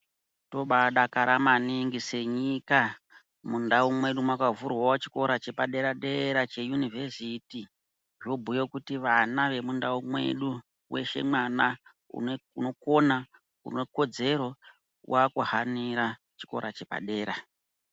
Tobaadakara maningi senyika, mundau mwedu mwakavhurwawo chikora chepadera-dera cheyunivhesiti. Zvobhuya kuti vana vemundau medu, weshe mwana unokona, une kodzero waakuhanira chikora chepadera.